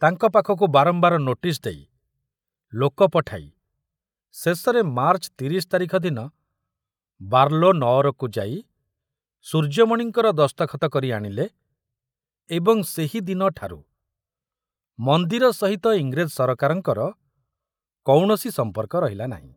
ତାଙ୍କ ପାଖକୁ ବାରମ୍ବାର ନୋଟିସ ଦେଇ, ଲୋକ ପଠାଇ ଶେଷରେ ମାର୍ଚ୍ଚ ତିରିଶ ତାରିଖ ଦିନ ବାର୍ଲୋ ନଅରକୁ ଯାଇ ସୂର୍ଯ୍ୟମଣିଙ୍କର ଦସ୍ତଖତ କରି ଆଣିଲେ ଏବଂ ସେହି ଦିନଠାରୁ ମନ୍ଦିର ସହିତ ଇଂରେଜ ସରକାରଙ୍କର କୌଣସି ସମ୍ପର୍କ ରହିଲା ନାହିଁ।